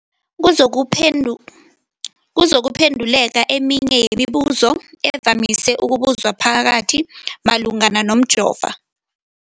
kuzokuphe ndu, kuzokuphe nduleka eminye yemibu zo evamise ukubuzwa mphakathi malungana nomjovo.